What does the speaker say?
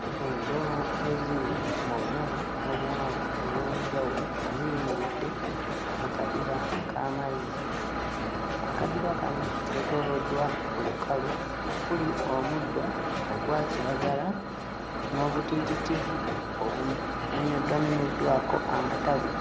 Enjovu eziri mu bunene n'obuwanvu obw'enjawulo ziyimiridde mu kadiba k'amazzi. Akadiba kano keetooloddwa olukalu okuli omuddo ogwa kiragala n'obutiititi obumenyeddwakomenyeddwako amatabi.